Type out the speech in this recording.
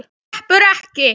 Þú sleppur ekki!